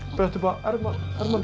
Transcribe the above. brettu upp á ermarnar